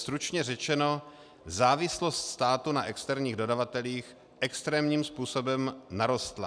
Stručně řečeno, závislost státu na externích dodavatelích extrémním způsobem narostla.